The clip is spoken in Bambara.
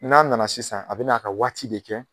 N'a nana sisan a bɛ n'a ka waati de kɛ